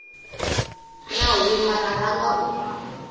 na huma ra ranga u